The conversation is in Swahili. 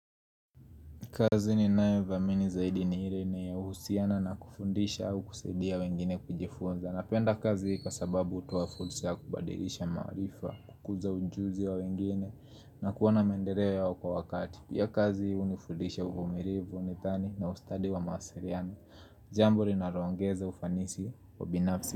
Kazi ninayo dhamini zaidi ni ile inayehusiana na kufundisha au kusaidia wengine kujifunza. Napenda kazi kwa sababu hutoa fursa ya kubadirisha maarifa, kukuza ujuzi wa wengine na kuona mendeleo yao kwa wakati. Pia kazi hunifundisha uvumilivu, nidhani na ustadi wa mawasiriano. Jambo linalongeza ufanisi wa binafsi.